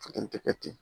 Tɛ kɛ ten